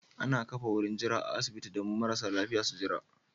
Ana ƙafa wurin jira a asibitin don marasa lafiƴa su Jira